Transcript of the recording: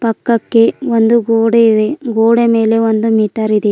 ಅಕ್ಕಕ್ಕೆ ಒಂದು ಗೋಡೆ ಇದೆ ಗೋಡೆ ಮೇಲೆ ಒಂದು ಮೀಟರ್ ಇದೆ.